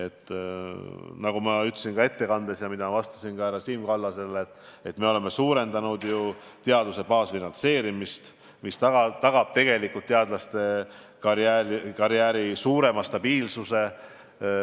Nagu ma ütlesin oma ettekandes ja ka härra Siim Kallase küsimusele vastates, me oleme suurendanud teaduse baasfinantseerimist, mis tagab teadlasekarjääri suurema stabiilsuse.